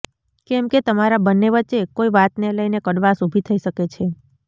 કેમ કે તમારા બંને વચ્ચે કોઈ વાતને લઈને કડવાશ ઉભી થઈ શકે છે